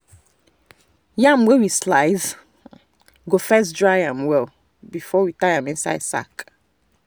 yam wey we slice we go first dry am well before we tie am inside sack.